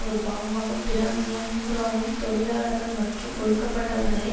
ஒரு பாகமாக பிராந்தியம் பூராவும் தொழலாளர்கள் மற்றும் ஒடுக்கப்பட்டவர்களை